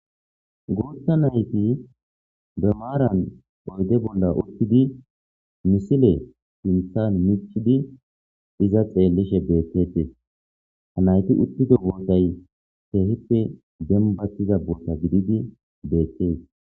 goutta nayti be maaran oyde bolla uttidi misile sinthan michidi iza xeellishe beettetes ha nayti uttido bootay teehippe gembattiza boota gididi beettees